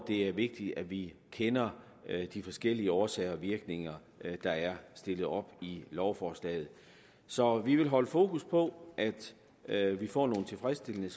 det er vigtigt at vi kender de forskellige årsager og virkninger der er stillet op i lovforslaget så vi vil holde fokus på at vi får nogle tilfredsstillende